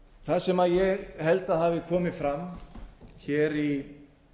það sem ég held að hafi komið hér fram í